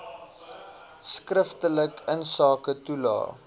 skriftelik insake toelae